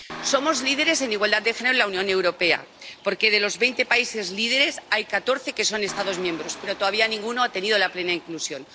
Somos líderes en igualdad de género en la Unión Europea porque, de los veinte países líderes, hay catorce que son Estados miembros, pero todavía ninguno ha tenido la plena inclusión.